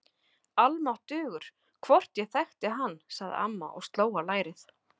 Almáttugur, hvort ég þekkti hann sagði amma og sló á lærið.